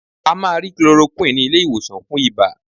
A máa rí chloroquine ní ilé-ìwòsàn fún ibà.